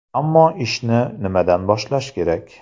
Ammo ishni nimadan boshlash kerak?